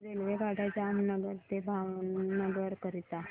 रेल्वेगाड्या जामनगर ते भावनगर करीता